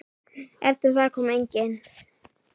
Eftir það kom enginn.